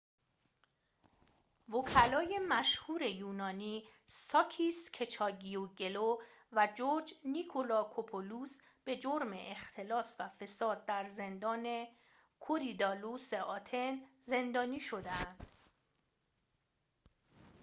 وکلای مشهور یونانی ساکیس کچاگیوگلو و جورج نیکلاکوپولوس به جرم اختلاس و فساد در زندان کوریدالوس آتن زندانی شده اند